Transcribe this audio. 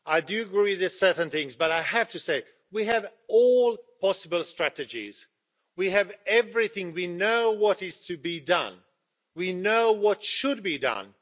I do agree with certain things, but I have to say, we have all possible strategies, we have everything, we know what is to be done, we know what should be done.